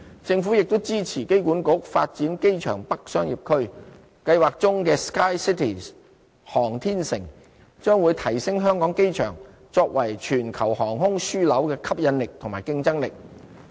政府亦支持機管局發展機場北商業區，計劃中的 "SKYCITY 航天城"將會提升香港機場作為全球航空樞紐的吸引力和競爭力。